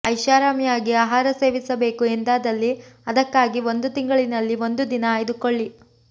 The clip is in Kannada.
ಐಷಾರಾಮಿಯಾಗಿ ಆಹಾರ ಸೇವಿಸಬೇಕು ಎಂದಾದಲ್ಲಿ ಅದಕ್ಕಾಗಿ ತಿಂಗಳಿನಲ್ಲಿ ಒಂದು ದಿನ ಆಯ್ದುಕೊಳ್ಳಿ